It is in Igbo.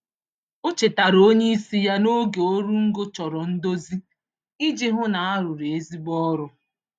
O chetara onyeisi ya na oge oru ngo chọrọ ndozi iji hụ na arụrụ ezigbo ọrụ